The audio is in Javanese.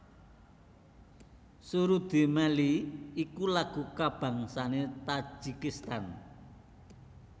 Surudi mellii iku lagu kabangsané Tajikistan